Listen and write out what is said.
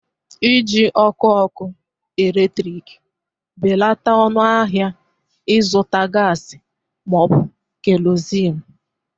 iji ọkụ ọkụ eletrik belata ọnụ ahịa ịzụta gas ma ọ bụ kerosenu